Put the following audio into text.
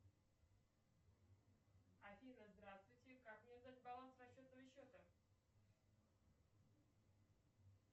афина здравствуйте как мне узнать баланс расчетного счета